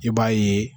I b'a ye